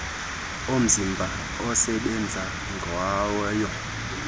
omzimba asebenza ngayo